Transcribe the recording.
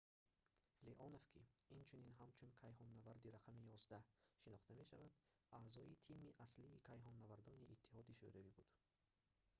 леонов ки инчунин ҳамчун кайҳоннаварди № 11 шинохта мешавад аъзои тими аслии кайҳоннавардони иттиҳоди шӯравӣ буд